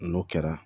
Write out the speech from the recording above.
N'o kɛra